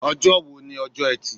Ọjọ́ wo ni ọjọ́ etí